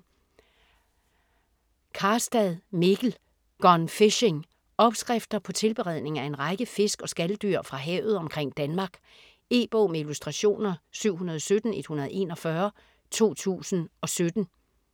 Karstad, Mikkel: Gone fishing Opskrifter på tilberedning af en række fisk og skaldyr fra havet omkring Danmark. E-bog med illustrationer 717141 2017.